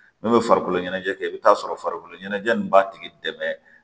N'u bɛ farikolo ɲɛnajɛ kɛ i bɛ t'a sɔrɔ farikolo ɲɛnajɛ in b'a tigi dɛmɛ